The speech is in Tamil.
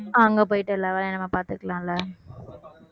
அங்க போயிட்டு எல்லா வேலையும் நம்ம பாத்துக்கலாம் இல்ல